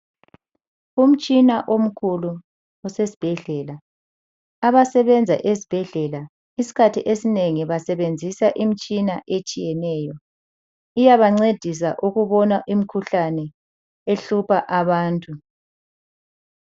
Umtshina omkhulu osesibhedlela. Abasebenza ezibhedlela izikhathi ezinengi basebenzisa imitshina etshiyeneyo, iyaba ncedisa ukubona imikhuhlane ehlupha abantu.